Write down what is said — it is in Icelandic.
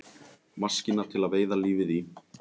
Maskína til að veiða lífið í.